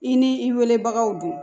I ni i weelebagaw do